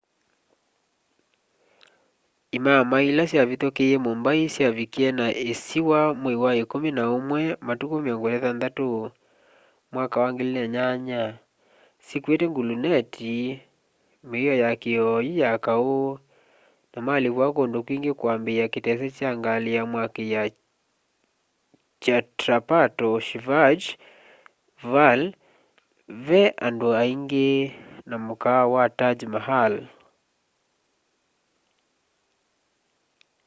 imamai ila syavithukie mumbai kyavikie na isiwa mwai wa ikumi na umwi 26 2008 syikuite gluneti mio ya kioyu ya kau na malipua kundu kwingi kwambiaa kitese kya ngali ya mwaki kya chhatrapato shivaji vale vee andu aingi na mukaawa wa taj mahal